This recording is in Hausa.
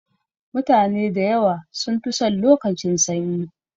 Mutane da yawa sun fi son lokacin sanyi.